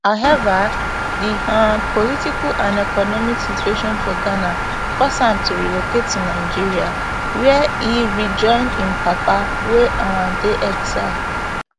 however di um political and economic situation for ghana force am to relocate to nigeria wia e rejoin im papa wey um dey for exile